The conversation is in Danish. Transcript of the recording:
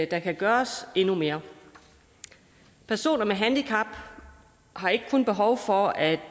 der kan gøres endnu mere personer med handicap har ikke kun behov for at